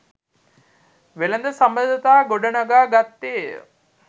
වෙළඳ සබඳතා ගොඩනඟා ගත්තේය.